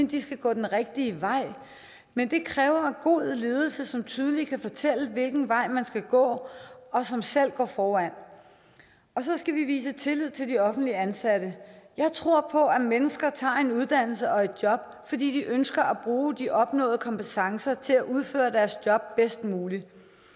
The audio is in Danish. de skal gå den rigtige vej men det kræver god ledelse som tydeligt kan fortælle hvilken vej man skal gå og som selv går foran og så skal vi vise tillid til de offentligt ansatte jeg tror på at mennesker tager en uddannelse og et job fordi de ønsker at bruge de opnåede kompetencer til at udføre deres job bedst muligt